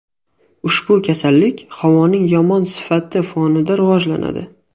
Ushbu kasallik havoning yomon sifati fonida rivojlanadi.